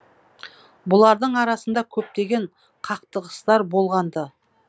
бұлардың арасында көптеген қақтығыстар болған ды